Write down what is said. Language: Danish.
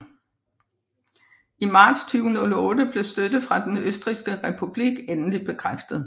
I marts 2008 blev støtte fra Den Østrigske Republik endeligt bekræftet